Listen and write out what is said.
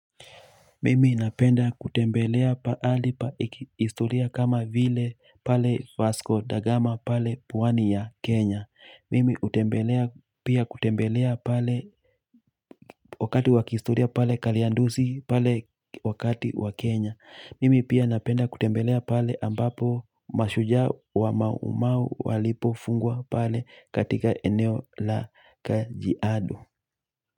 Mimi napenda kutembelea pahali pa historia kama vile pale Vasko da Gama pale pwani ya Kenya. Mimi hutembelea pia kutembelea pale wakati wa kihistoria pale Kariandusi pale wakati wa Kenya. Mimi pia napenda kutembelea pale ambapo mashujaa wa mau mau walipofungwa pale katika eneo la Kajiado.